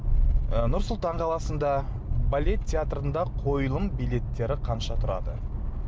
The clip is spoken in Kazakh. ы нұр сұлтан қаласында балет театрында қойылым билеттері қанша тұрады